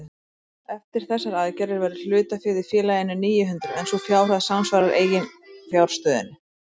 Eftir þessar aðgerðir verður hlutaféð í félaginu níu hundruð en sú fjárhæð samsvarar eiginfjárstöðunni.